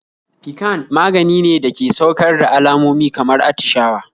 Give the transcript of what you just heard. Piccan maganine dake saukar da alamomi kamar attishawa